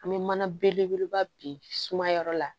An bɛ mana belebeleba bi sumaya yɔrɔ la